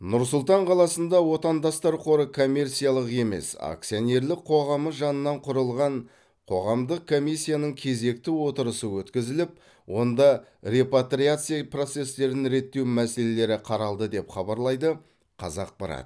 нұрсұлтан қаласында отандастар қоры коммерциялық емес акционерлік қоғамы жанынан құрылған қоғамдық комиссияның кезекті отырысы өткізіліп онда репатриация процестерін реттеу мәселелері қаралды деп хабарлайды қазақпарат